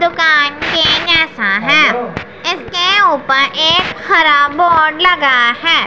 दुकान दिख रहा है इसके ऊपर एक हरा बोर्ड लगा है।